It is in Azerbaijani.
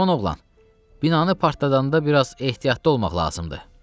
"Cavan oğlan, binanı partladanda bir az ehtiyatlı olmaq lazımdır."